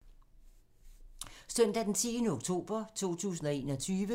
Søndag d. 10. oktober 2021